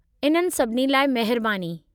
इननि सभिनी लाइ महिरबानी।